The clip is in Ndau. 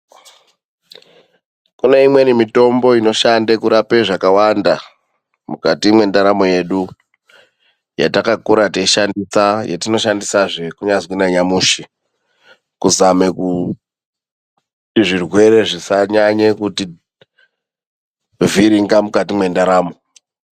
Kune imweni mitombo inoshande kurapa zvakawanda mukati mendaramo yedu .Yatakakura teyishandisa yatinoshandisa zvekunazvi na nyamushi kuzame kuti zvirwere zvisanyanye kuti vhiringa mukati mendaramo.